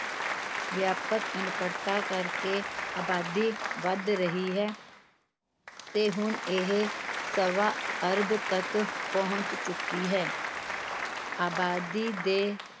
ਵਿਆਪਕ ਅਨਪੜਤਾ ਕਰਕੇ ਅਬਾਦੀ ਵਧ ਰਹੀ ਹੈ ਤੇ ਹੁਣ ਇਹ ਸਵਾ ਅਰਬ ਤੱਕ ਪਹੁੰਚ ਚੁੱਕੀ ਹੈ ਅਬਾਦੀ ਦੇ